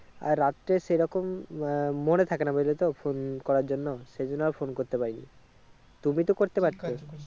আর রাত্রে সেই রকম আহ মনে থাকে না বুজলে তো phone করার জন্য সেই জন্য আর phone করতে পাইনি, তুমি তো করতে পারতে।